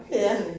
Ja